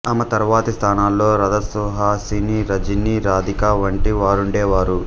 ఆమె తరువాతి స్థానాల్లో రాధ సుహాసిని రజని రాధిక వంటి వారుండేవారు